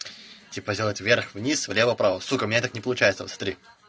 типо сделать вверх вниз влево вправо сука у меня так не получается смотри